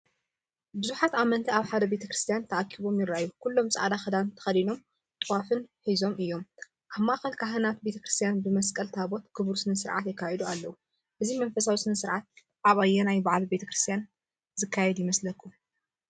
ብዙሓት ኣመንቲ ኣብ ሓደ ቤተ ክርስቲያን ተኣኪቦም ይረኣዩ። ኩሎም ጻዕዳ ክዳንን ተከዲኖም ጥዋፍ ሒዞምን እዮም። ኣብ ማእኸል ካህናትን ቤተ ክርስቲያንን ብመስቀልን ታቦትን ክቡር ስነ-ስርዓት የካይዱ ኣለዉ። እዚ መንፈሳዊ ስነ-ስርዓት ኣብ ኣየናይ በዓል ቤተ ክርስቲያን ዝካየድ ይመስለኩምዶ?